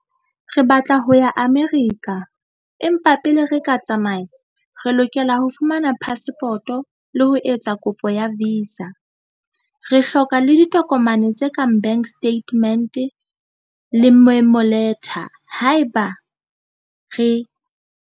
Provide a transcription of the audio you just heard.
Re batla ho ya America empa pele re ka tsamaya re lokela ho fumana passport-o le ho etsa kopo ya visa re hloka le ditokomane tse kang bank statement le letter haeba re.